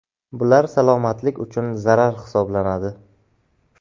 Bular salomatlik uchun zarar hisoblanadi.